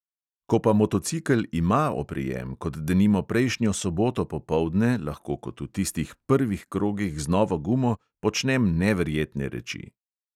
Ko pa motocikel ima oprijem, kot denimo prejšnjo soboto popoldne, lahko kot v tistih prvih krogih z novo gumo počnem neverjetne reči.